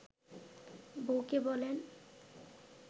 বউকে বলেন